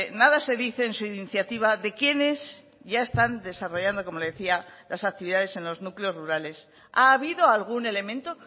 nada se dice en su iniciativa de quienes ya están desarrollando como le decía las actividades en los núcleos rurales ha habido algún elemento